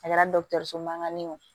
A kɛra dɔgɔtɔrɔso mankan ye o